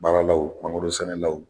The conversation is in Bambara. Baaralaw mangorosɛnɛlaw.